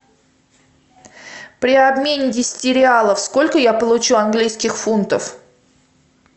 при обмене десяти реалов сколько я получу английских фунтов